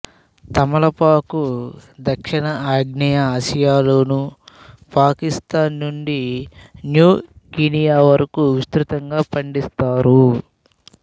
తమలపాకు దక్షిణ అగ్నేయ ఆసియాలోనూ పాకిస్తాన్ నుండి న్యూగినియా వరకూ విస్తృతంగా పండిస్తారు